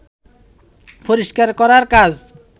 পরিষ্কার করার কাজ